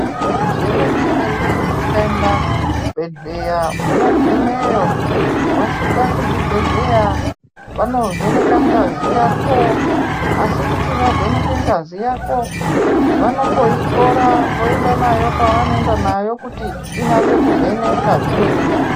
Zvemene mene ukaenda kuzvibhedhleya unogumeyo wosvika kuzvibhedhleya vanovheneka ngazi yako asi kuti vavheneke ngazi yako vanomboitora voenda nayo kwavanoenda nayo kuti inase kuvhenekwa zvemene mene.